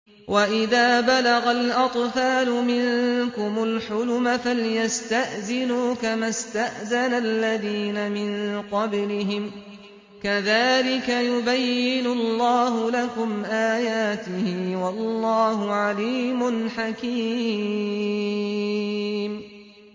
وَإِذَا بَلَغَ الْأَطْفَالُ مِنكُمُ الْحُلُمَ فَلْيَسْتَأْذِنُوا كَمَا اسْتَأْذَنَ الَّذِينَ مِن قَبْلِهِمْ ۚ كَذَٰلِكَ يُبَيِّنُ اللَّهُ لَكُمْ آيَاتِهِ ۗ وَاللَّهُ عَلِيمٌ حَكِيمٌ